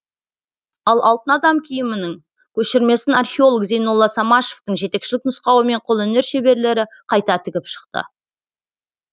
ал алтын адам киімінің көшірмесін археолог зейнолла самашевтың жетекшілік нұсқауымен қолөнер шеберлері қайта тігіп шықты